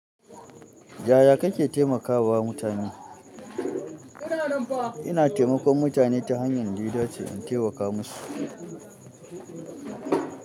Yaya kake taimaka wa mutane? Ina taimakon mutane ta hanyar ɗaya dace in taimaka musu.